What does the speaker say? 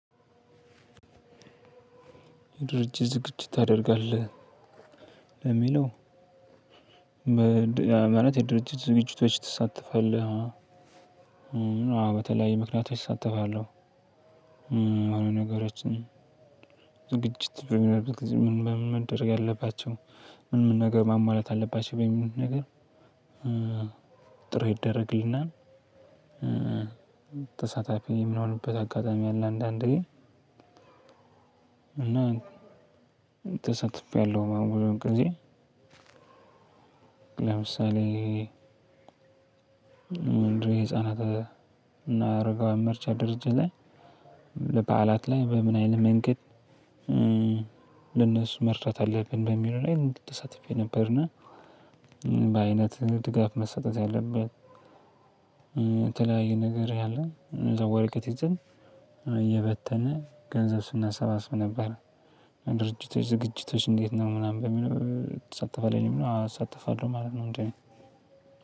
ድርጅት ዝግጅት ታደርጋለህ ለሚለው ማለት የድርጅት ዝግጅቶች ትሳተፋለህ? አዎ በተለያዩ ምክንያቶች እሳተፋለሁ። ዝግጅት በሚደረግበት ምን ምን ነገር ሞሞላት አለባቸው በሚለው ነገር? ጥሪ ይደረግልናል። ተሳታፊ የምንሆንበት አጋጣሚ አለ። አንዳንዴ እና ተሳትፌ አለሁ ሁለት ጊዜ። ለምሳሌ ምንድነው የህፃናት እና አረጋውያን መርጃ ድርጅት ላይ ለበዓላት ላይ በምን አይነት መንገድ? ለነሱ መርዳት አለብን በሚለው ላይ እንግዲህ ተሳትፌ የነበርና በአይነት ድጋፍ መሰጠት ያለበት የተለያየ ነገር ያለን ወረቀት ይዘን እየበተንን ገንዘብ ስናሰባስብ ነበር። ድርጅቶች ዝግጅቶች እንዴት ነው ምናምን በሚለው ትሳተፋለህ? የሚለው አዎ እሳተፋለሁ ማለት ነው።